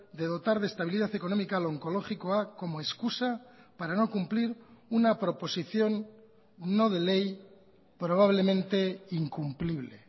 de dotar de estabilidad económica a onkologikoa como excusa para no cumplir una proposición no de ley probablemente incumplible